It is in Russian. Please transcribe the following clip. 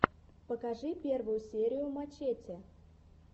покажи первую серию мачете